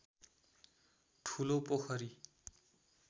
ठुलो पोखरी